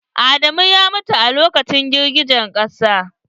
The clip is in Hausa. Adamu ya mutu a lokacin girgijen ƙasa.